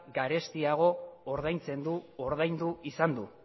garestiago ordaintzen du ordaindu izan du